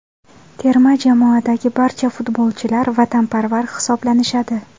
Terma jamoadagi barcha futbolchilar vatanparvar hisoblanishadi.